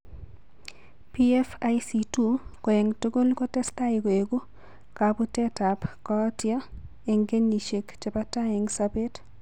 PFIC2 ko eng' tugul kotestai koeku kabuutetap kooyto eng' kenyisiek che po tai eng' sobet.